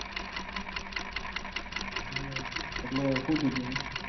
એટલે હું થયું તું એને?